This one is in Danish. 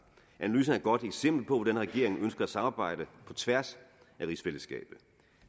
analysen er et godt eksempel på hvordan regeringen ønsker at samarbejde på tværs af rigsfællesskabet